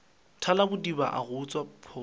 thalabodiba a go utswa pholo